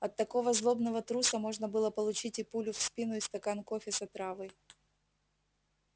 от такого злобного труса можно было получить и пулю в спину и стакан кофе с отравой